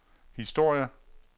historie